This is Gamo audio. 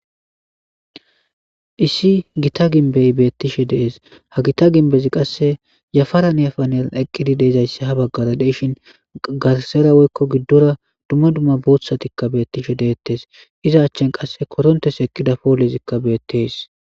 Issi gita gimbe beatishe deasi hageta gimbeti kaase yafaran yafaran eqiid dezayis ha bagarq deashe garisara woykko gidora dumma dumma bootha ka beatishe deates iza achani qasse